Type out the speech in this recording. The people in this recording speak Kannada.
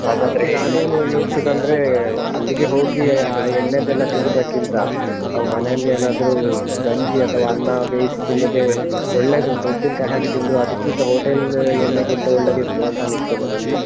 ಅದಕ್ಕೆ ನಾನೇನು ಯೋಚ್ಸುದಂದ್ರೆ ಅಲ್ಲಿಗೆ ಹೋಗಿ ಆ ಎಣ್ಣೆದೆಲ್ಲ ತಿನ್ನುದಕ್ಕಿಂತ, ನಾವು ಮನೆಯಲ್ಲೇ ಏನಾದ್ರೂ ಗಂಜಿ ಅಥವಾ ಅನ್ನ ಬೇಯಿಸಿ ತಿನ್ನುದೇ ಒಳ್ಳೇದೂಂತ ಉಪ್ಪಿನ್ಕಾಯಿ ಹಾಕಿ ತಿಂದ್ರೂ ಅದಕ್ಕಿಂತ hotel ಎಣ್ಣೆಗಿಂತ ಒಳ್ಳೆದಿರ್ತದೆ ಅಂತ ಅನಿಸ್ತದೆ ನನ್ಗೆ.